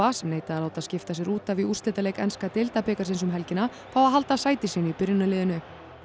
sem neitaði að láta skipta sér út af í úrslitaleik enska deildabikarsins um helgina fái að halda sæti sínu í byrjunarliðinu